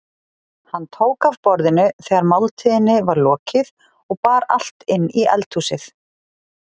Hann tók af borðinu þegar máltíðinni var lokið og bar allt inn í eldhúsið.